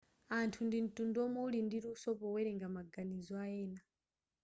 anthu ndi mtundu womwe wuli ndi luso powelenga maganizo ayena